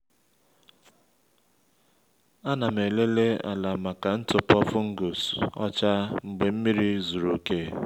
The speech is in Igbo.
a na m elele ala maka ntụpọ fungus ọcha mgbe nmiri zuru oke